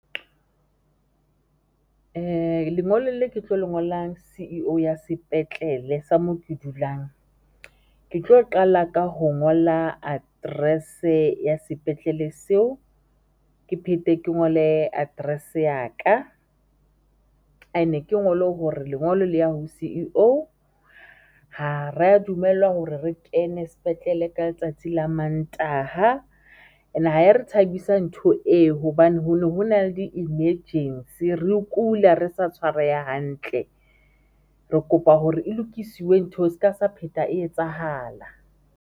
Lengolo le ke tlo le ngolang C_E_O ya sepetlele sa moo ke dulang, ke tlo qala ka ho ngola address-e ya sepetlele seo, ke phete ke ngole address ya ka and-e ke ngolo hore lengolo le ya ho C_E_O ha ra dumellwa hore re kene sepetlele ka letsatsi la mantaha and-e ha e re thabisang ntho eo hobane ho ne ho na le di-emergency re kula, re sa tshwareha hantle, re kopa hore e lokisiwe ntho eo ska sa pheta e etsahala.